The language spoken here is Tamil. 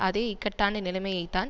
அதே இக்கட்டான நிலைமையைத்தான்